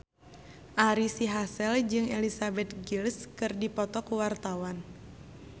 Ari Sihasale jeung Elizabeth Gillies keur dipoto ku wartawan